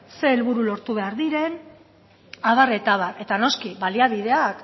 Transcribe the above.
zein helburu lortu behar diren abar eta abar eta noski baliabideak